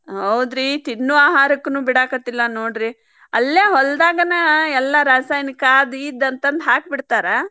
ಹೌದ್ರಿ ತಿನ್ನು ಆಹಾರಕನ್ನು ಬಿಡಾಕತಿಲ್ ನೋಡ್ರಿ ಅಲ್ಲೇ ಹೊಲ್ದಾಗನ ಎಲ್ಲಾ ರಾಸಾಯನಿಕ ಅದ್ ಇದ್ ಅಂತಂದ ಹಾಕಿಬಿಡ್ತಾರಾ.